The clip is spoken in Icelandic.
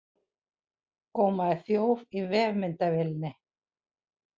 Gómaði þjóf í vefmyndavélinni